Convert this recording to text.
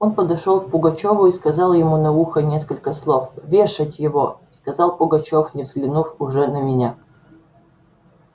он подошёл к пугачёву и сказал ему на ухо несколько слов вешать его сказал пугачёв не взглянув уже на меня